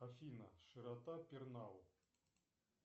афина широта пернау